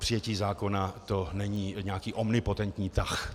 Přijetí zákona, to není nějaký omnipotentní tah.